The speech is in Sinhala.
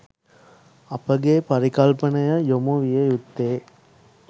අපගේ පරිකල්පනය යොමු විය යුත්තේ